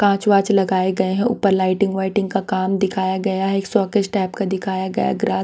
कांच वांच लगाए गए हैं ऊपर लाइटिंग वाइटिंग का काम दिखाया गया है शोकेस टाइप का दिखाया गया है ग्रात--